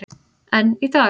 En í dag.